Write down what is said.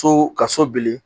So ka so bili